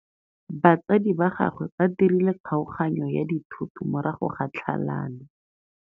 Batsadi ba gagwe ba dirile kgaoganyô ya dithoto morago ga tlhalanô.